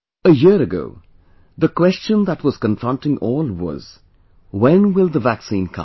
a year ago, the question that was confronting all was When will the vaccine come